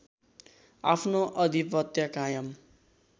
आफ्नो आधिपत्य कायम